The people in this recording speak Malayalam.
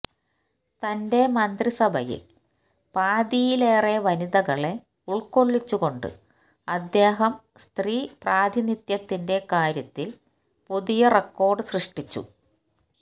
തന്റെ മന്ത്രിസഭയില് പാതിയിലേറെ വനിതകളെ ഉള്ക്കൊള്ളിച്ചുകൊണ്ട് അദ്ദേഹം സ്ത്രീപ്രാതിനിധ്യത്തിന്റെ കാര്യത്തില് പുതിയ റെക്കോര്ഡ് സൃഷ്ടിച്ചു